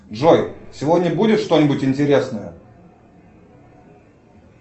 джой сегодня будет что нибудь интересное